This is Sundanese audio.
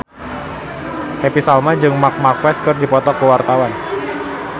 Happy Salma jeung Marc Marquez keur dipoto ku wartawan